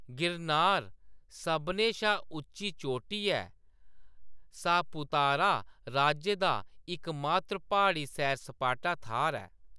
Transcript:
गिरनार सभनें शा उच्ची चोटी ऐ ते सापुतारा राज्य दा इकमात्र प्हाड़ी सैर-सपाटा थाह्‌‌‌र ऐ।